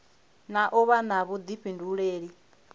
na u vha na vhuḓifhinduleli